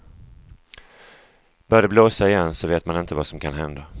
Börjar det blåsa igen så vet man inte vad som kan hända.